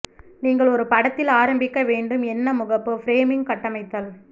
நீங்கள் ஒரு படத்தில் ஆரம்பிக்க வேண்டும் என்ன முகப்பு ஃப்ரேமிங் கட்டமைத்தல்